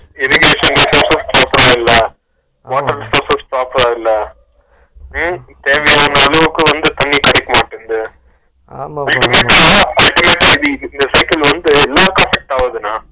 irrigation methods வும் proper அ இல்ல, water resources proper அ இல்ல உம் தேவையான அளவுக்கு வந்து தண்ணி கிடைக்கணும் வந்து கிட்டத்தட்ட இந்த cycle உருவாக்கப்பட்டதுண்ணா